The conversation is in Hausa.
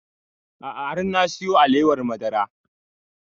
A'a har na siyo alewar madara